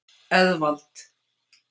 Eðvald